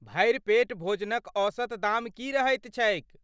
भरि पेट भोजनक औसत दाम की रहैत छैक?